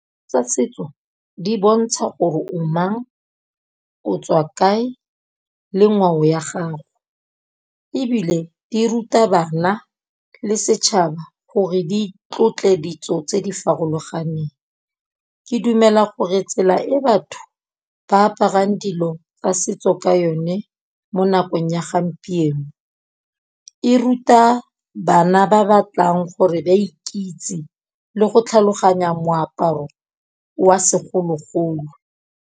Tsa setso di bontsha gore o mang, o tswa kae le ngwao ya gago, ebile di ruta bana le setšhaba gore di tlotle ditso tse di farologaneng. Ke dumela gore tsela e batho ba aparang dilo tsa setso ka yone mo nakong ya gampieno, e ruta bana ba batlang gore ba ikitse le go tlhaloganya moaparo wa segologolo.